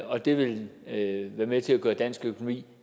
og det vil være med til at gøre dansk økonomi